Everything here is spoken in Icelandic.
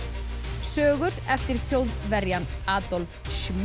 sögur eftir Þjóðverjann Adolf